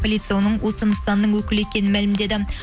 полицей оның осы нысанның өкілі екенін мәлімдеді